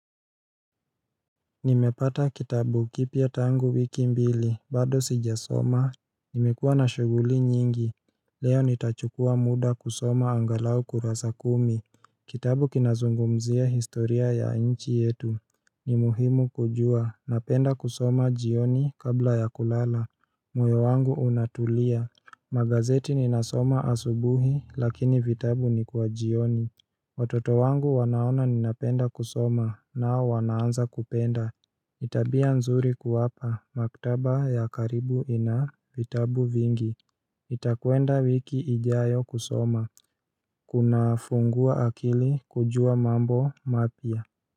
Nimepata kitabu kipya tangu wiki mbili bado sijasoma Nimekuwa na shughuli nyingi Leo nitachukua muda kusoma angalau kurasa kumi Kitabu kinazungumzia historia ya nchi yetu ni muhimu kujua napenda kusoma jioni kabla ya kulala moyo wangu unatulia Magazeti ninasoma asubuhi lakini vitabu ni kwa jioni Watoto wangu wanaona ninapenda kusoma nao wanaanza kupenda tabia nzuri kuwapa, maktaba ya karibu ina vitabu vingi nitakuenda wiki ijayo kusoma, kunafungua akili kujua mambo mapya.